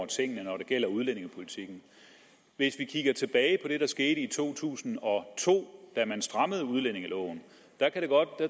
tingene når det gælder udlændingepolitikken hvis vi kigger tilbage på det der skete i to tusind og to da man strammede udlændingeloven